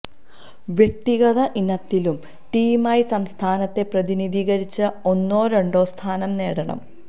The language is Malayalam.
വ്യക്തിഗത ഇനത്തിലും ടീമായും സംസ്ഥാനത്തെ പ്രതിനിധീകരിച്ച് ഒന്നോ രണ്ടോ സ്ഥാനം നേടണം